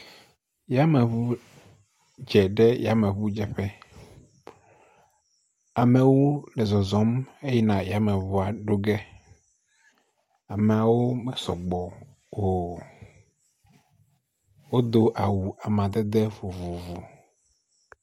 Yameŋu dze ɖe yameŋu dze ƒe. Ame wo le zɔzɔm he yina ɖe yameŋua ɖo ƒe. Ameawo me sɔgbɔ o. Wodo awu amadede vovovo.